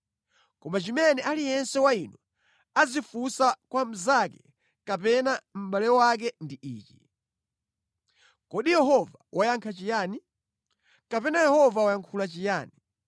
Koma chimene aliyense wa inu azifunsa kwa mnzake kapena mʼbale wake ndi ichi: ‘Kodi Yehova wayankha chiyani?’ kapena ‘Yehova wayankhula chiyani?’